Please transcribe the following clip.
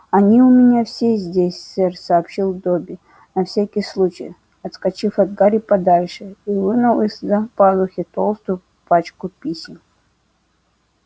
они у меня все здесь сэр сообщил добби на всякий случай отскочив от гарри подальше и вынул из-за пазухи толстую пачку писем